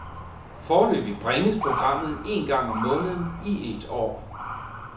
Foreløbig bringes programmet en gang om måneden i et år.